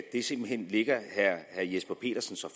simpelt hen ligger herre jesper petersen så